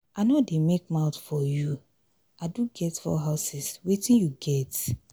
i no dey make mouth for you. i do get 4 houses wetin you get.